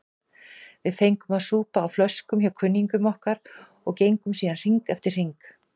Við fengum að súpa á flöskum hjá kunningjum okkar og gengum síðan hring eftir hring.